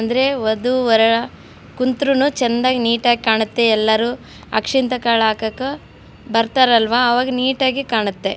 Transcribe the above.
ಅಂದ್ರೆ ವದು ವರ ಕುಂತ್ರುನು ಚೆನ್ನಾಗ್ ನೀಟಾಗ್ ಕಾಣುತ್ತೆ ಎಲ್ಲರು ಅಕ್ಷೆಂತ ಕಾಳಾಕಕ್ಕ ಬರ್ತಾರಲ್ವಾ ಅವಾಗ ನೀಟಾಗಿ ಕಾಣುತ್ತೆ.